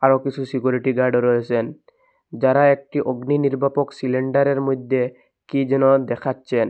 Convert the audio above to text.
আরও কিসু সিকিউরিটি গার্ডও রয়েসেন যারা একটি অগ্নি নির্বাপক সিলিন্ডারের মইদ্যে কী যেন দেখাচ্চেন।